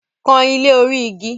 Kan ilé orí igi!